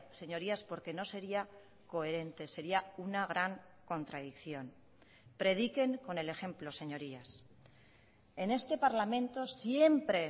señorías porque no sería coherente sería una gran contradicción prediquen con el ejemplo señorías en este parlamento siempre